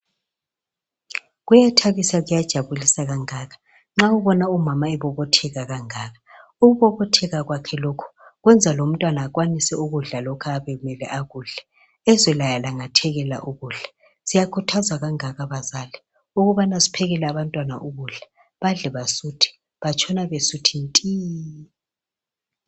Kuyathabisa kuyajabulisa kangaka nxa ubona umama ebobotheka kangaka. Ukubobotheka kwakhe lokhu kwenza lomntwana akwanise ukudla lokhu ayabe emele akudle, ezwe laye elangathelela ukudla. Sikhuthaza kangaka bazali ukubana siphekele abantwana ukudla badle basuthe, batshona besuthi nti.